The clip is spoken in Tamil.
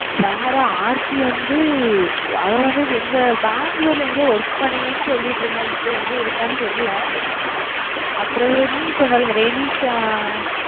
வேற aarthi வந்து அவ வந்து எங்க Bangalore ல எங்கயோ work பண்றேன் சொல்லிட்டு இருந்தா இப்போ எங்க இருக்கான்னு தெரியல அப்புறம் நீ சொன்ன ல